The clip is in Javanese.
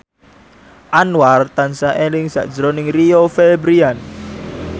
Anwar tansah eling sakjroning Rio Febrian